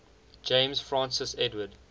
james francis edward